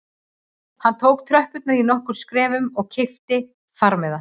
Hann tók tröppurnar í nokkrum skrefum og keypti farmiða